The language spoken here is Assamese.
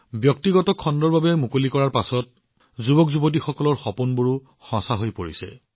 ব্যক্তিগত খণ্ডৰ বাবে এই ক্ষেত্ৰ মুকলি কৰাৰ পিছত যুৱসকলৰ এই সপোনবোৰো সঁচা হৈ আহিছে